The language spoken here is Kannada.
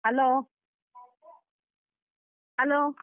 Hello hello.